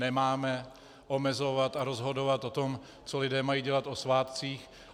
Nemáme omezovat a rozhodovat o tom, co lidé mají dělat o svátcích.